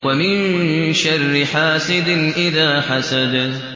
وَمِن شَرِّ حَاسِدٍ إِذَا حَسَدَ